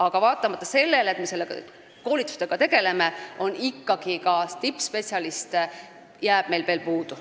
Aga vaatamata sellele, et me koolitustega tegeleme, jääb meil ikkagi tippspetsialiste puudu.